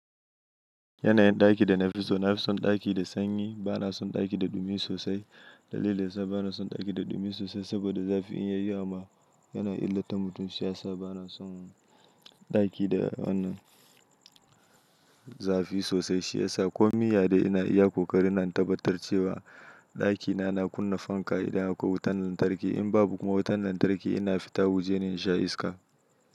Yanayin ɗaki da na fi so na fi son ɗaki da sanyi bana son ɗaki da dumi sosai. Dalilin sa bana son ɗaki da dumi sosai saboda zafi in yayi amma yana illata mutum shi ya sa bana son ɗaki da wannan zafi sosai. Shi ya sa ko min ya dai ina iya ƙoƙari na tabbatar cewa ɗakina na kunna fanka idan akwai wutan lantarki. In babu kuma wutan lantarki ina fita wajene in sha iska.